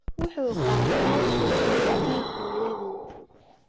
Wuxuu qaatay hidde-sidaha hooyadii.